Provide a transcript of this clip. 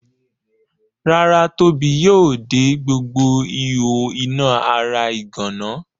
Rárá Tóbi yóò de gbogbo ihò iná ara ìgànná.